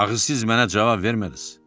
Axı siz mənə cavab vermədiniz.